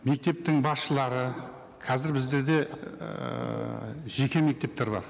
мектептің басшылары қазір біздерде ііі жеке мектептер бар